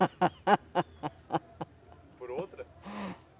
Por outra?